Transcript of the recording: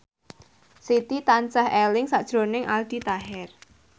Siti tansah eling sakjroning Aldi Taher